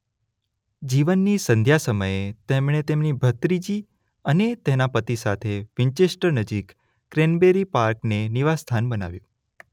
જીવનની સંધ્યા સમયે તેમણે તેમની ભત્રીજી અને તેના પતિ સાથે વિન્ચેસ્ટર નજીક ક્રેનબરી પાર્કને નિવાસસ્થાન બનાવ્યું.